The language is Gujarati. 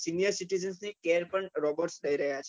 senior citizen care પણ robot થઇ રહ્યા છે